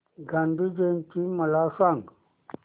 गांधी जयंती मला सांग